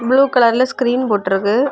Blue கலர்ல screen போட்டு இருக்கு.